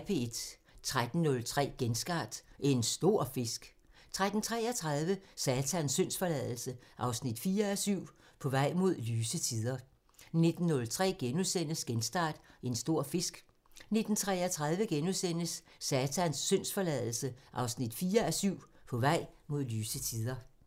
13:03: Genstart: En stor fisk 13:33: Satans syndsforladelse 4:7 – På vej mod lyse tider 19:03: Genstart: En stor fisk * 19:33: Satans syndsforladelse 4:7 – På vej mod lyse tider *